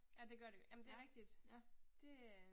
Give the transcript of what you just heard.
Ja det gør det, jamen det er rigtigt. Det øh